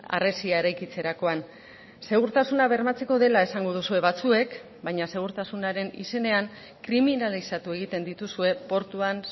harresia eraikitzerakoan segurtasuna bermatzeko dela esango duzue batzuek baina segurtasunaren izenean kriminalizatu egiten dituzue portuan